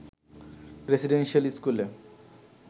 residential স্কুলে